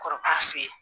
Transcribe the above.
Kɔrɔ k'a f'i ye